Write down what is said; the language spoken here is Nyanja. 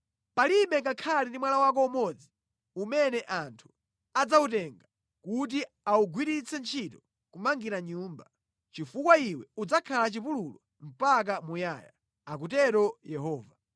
Palibe ngakhale ndi mwala wako umodzi umene anthu adzawutenga kuti awugwiritse ntchito kumangira nyumba, chifukwa iwe udzakhala chipululu mpaka muyaya,” akutero Yehova.